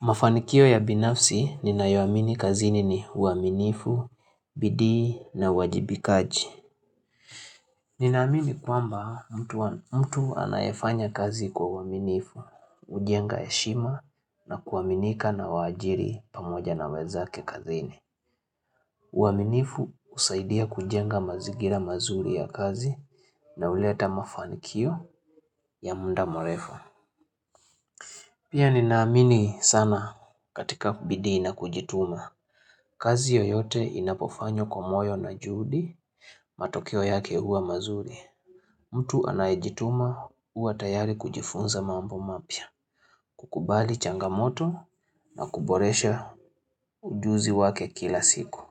Mafanikio ya binafsi ninayo amini kazini ni uaminifu, bidii na uwajibikaji. Nina amini kwamba mtu anayefanya kazi kwa uaminifu, hujenga heshima na kuaminika na waajiri pamoja na wenzake kazini. Uaminifu husaidia kujenga mazingira mazuri ya kazi na uleta mafanikio ya muda murefu. Pia ninaamini sana katika bidii na kujituma. Kazi yoyote inapofanywa kwa moyo na juhudi, matokeo yake huwa mazuri. Mtu anayejituma huwa tayari kujifunza mambo mapya. Kukubali changamoto na kuboresha ujuzi wake kila siku.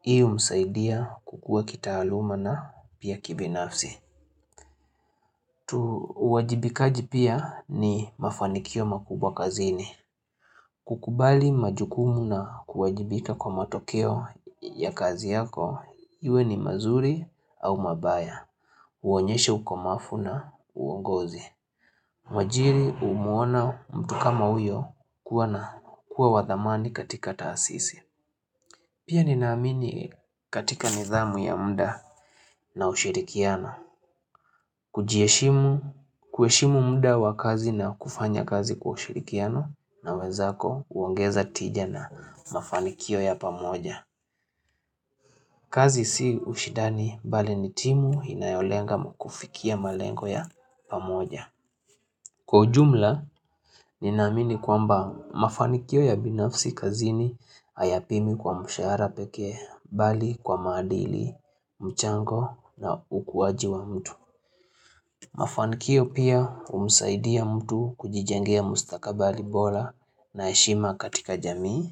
Hii humsaidia kukua kitaaluma na pia kibinafsi. Tu uwajibikaji pia ni mafanikio makubwa kazini. Kukubali majukumu na kuwajibika kwa matokeo ya kazi yako. Iwe ni mazuri au mabaya Uonyeshe ukomafu na uongozi mwajiri humuona mtu kama uyo kuwa na kuwa wa thamani katika taasisi Pia nina amini katika nidhamu ya mda na ushirikiano kujiheshimu kuheshimu mda wa kazi na kufanya kazi kwa ushirikiano na wenzako huongeza tija na mafanikio ya pamoja kazi si ushindani bali ni timu inayolenga kufikia malengo ya pamoja. Kwa ujumla, nina amini kwamba mafanikio ya binafsi kazini hayapimwi kwa mshahara pekee bali kwa maadili mchango na ukuwaji wa mtu. Mafanikio pia humsaidia mtu kujijengea mustakabali bora na heshima katika jamii.